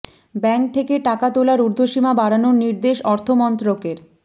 bank থেকে টাকা তোলার উর্ধ্বসীমা বাড়ানোর নির্দেশ অর্থ মন্ত্রকের